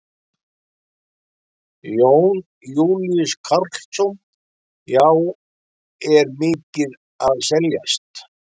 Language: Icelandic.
Jón Júlíus Karlsson: Já, er mikið að seljast?